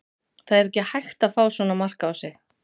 Það er ekki hægt að fá svona mark á sig.